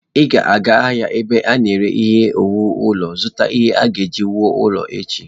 Ị ga-aga ahịa ebe ana ere ihe owuwu ulo, zụta ihe a ga-eji wuo ụlọ echi.